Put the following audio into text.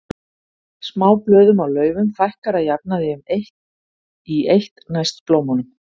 Smáblöðum á laufum fækkar að jafnaði í eitt næst blómunum.